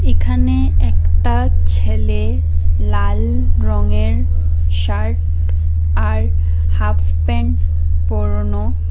এখানে একটা ছেলে লাল রঙের শার্ট আর হাফ প্যান্ট পরানো।